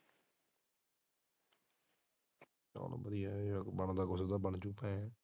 ਚੱਲ ਵਧੀਆ ਬਣਦਾ ਕੁਝ ਹੁੰਦਾ ਬਣ ਜਾਓ।